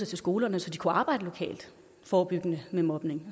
til skolerne så de kunne arbejde lokalt og forebyggende med mobning